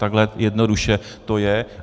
Takhle jednoduše to je.